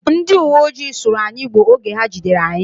Ndi iwoojii sụrụ anyi Igbo oge ha jidere anyị